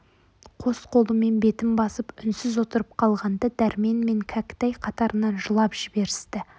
қос қолымен бетін басып үнсіз отырып қалғанда дәрмен мен кәкітай қатарынан жылап жіберісті